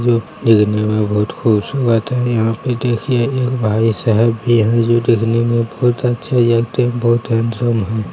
जो देखने में बहुत खूबसूरत है यहाँ पे देखिये एक भाईसाहब भी हैं जो दिखने में बहुत अच्छे हैं बहुत हैंडसम हैं।